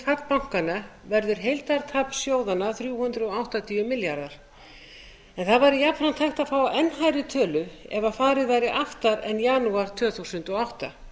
miðuð við fall bankanna verður heildartap sjóðanna þrjú hundruð áttatíu milljarðar en það væri jafnframt hægt að fá enn hærri tölu ef farið væri aftar en janúar tvö þúsund og átta